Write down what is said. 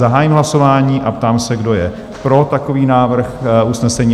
Zahájím hlasování a ptám se, kdo je pro takový návrh usnesení?